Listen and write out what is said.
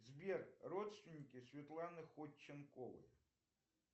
сбер родственники светланы ходченковой